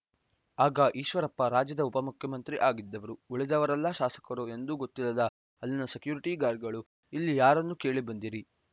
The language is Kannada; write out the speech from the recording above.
ಆಗ ಈಶ್ವರಪ್ಪ ರಾಜ್ಯದ ಉಪಮುಖ್ಯಮಂತ್ರಿ ಆಗಿದ್ದವರು ಉಳಿದವರೆಲ್ಲ ಶಾಸಕರು ಎಂದು ಗೊತ್ತಿಲ್ಲದ ಅಲ್ಲಿನ ಸೆಕ್ಯುರಿಟಿ ಗಾರ್ಡ್‌ಗಳು ಇಲ್ಲಿ ಯಾರನ್ನು ಕೇಳಿ ಬಂದಿರಿ